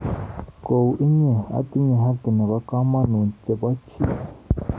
Kou inye, atinye haki nebo kamanuut chebo chi.